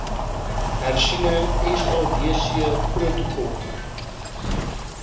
hersiene sadc protokol